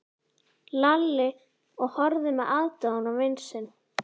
Lalli og horfði með aðdáun á vin sinn.